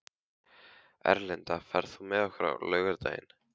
Erlinda, ferð þú með okkur á laugardaginn?